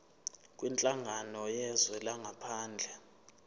kwinhlangano yezwe langaphandle